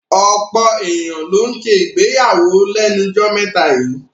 Ọ̀pọ̀ èyàn ló ń ṣègbéyàwó lẹ́nu jọ́ mẹ́ta yíì.